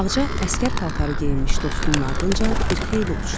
Ağca əsgər paltarı geyinmiş dostunun ardınca bir xeyli uçdu.